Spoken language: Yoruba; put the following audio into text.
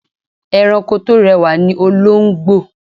Ẹranko tó rẹwà ni olóńgbò.